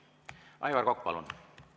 Aivar Kokk, palun!